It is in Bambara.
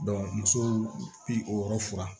muso furan